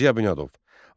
Ziya Bünyadov.